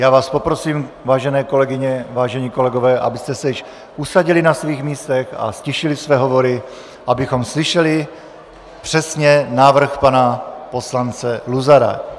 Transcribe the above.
Já vás poprosím, vážené kolegyně, vážení kolegové, abyste se již usadili na svých místech a ztišili své hovory, abychom slyšeli přesně návrh pana poslance Luzara.